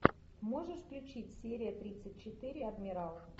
можешь включить серия тридцать четыре адмирал